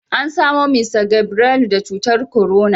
Ana samo Mista Gabrelu da cutar korona